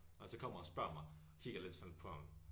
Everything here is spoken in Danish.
Når han så kommer og spørger mig kigger jeg lidt sådan på ham